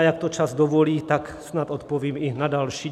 A jak to čas dovolí, tak snad odpovím i na další.